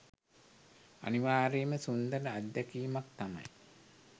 අනිවාර්යයෙන්ම සුන්දර අත්දැකීමක් තමයි